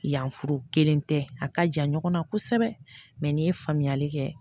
Yanforo kelen tɛ a ka jan ɲɔgɔnna kosɛbɛ mɛ n'i ye faamuyali kɛ